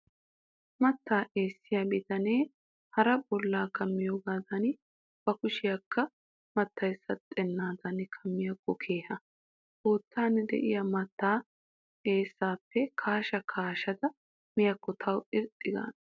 Mattaa eessiyaa bitanee hara bollaa kammoogaadan bakushiyaakka mattayi saxxennaadan kammiyaakko keha. Koottan de'iyaa mattaa eessaappe kaasha kaashada miyaakko tawu irxxi gaana.